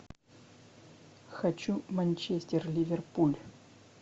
хочу манчестер ливерпуль